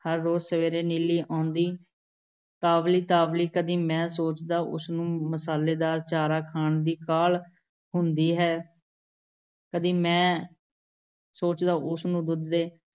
ਹਰ ਰੋਜ਼ ਸਵੇਰੇ ਨੀਲੀ ਆਉਂਦੀ, ਤਾਵਲੀ-ਤਾਵਲੀ । ਕਦੀ ਮੈਂ ਸੋਚਦਾ ਉਸ ਨੂੰ ਮਸਾਲੇਦਾਰ ਚਾਰਾ ਖਾਣ ਦੀ ਕਾਹਲ਼ ਹੁੰਦੀ ਹੈ। ਕਦੀ ਮੈਂ ਸੋਚਦਾ ਉਸ ਨੂੰ ਦੁੱਧ ਦੇ